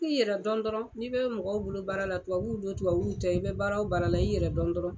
I yɛrɛ dɔn dɔrɔn, n'i bɛ mɔgɔw bolo baara la tubabuw dɔn tubabuw tɛ i bɛ baara o baara la i yɛrɛ dɔn dɔrɔn.